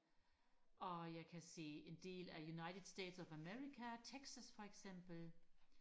og jeg kan se en del af United States of America Texas for eksempel